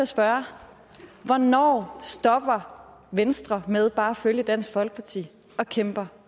spørge hvornår stopper venstre med bare at følge dansk folkeparti og kæmper